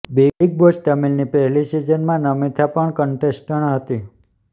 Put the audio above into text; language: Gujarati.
બિગ બોસ તમિલની પહેલી સિઝનમાં નમિથા પણ કન્ટેસ્ટન્ટ હતી